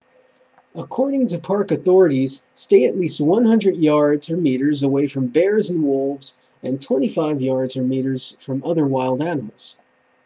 according to park authorities stay at least 100 yards/meters away from bears and wolves and 25 yards/meters from all other wild animals!